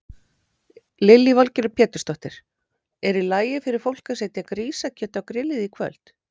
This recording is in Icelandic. Lillý Valgerður Pétursdóttir: Er í lagi fyrir fólk að setja grísakjöt á grillið í kvöld?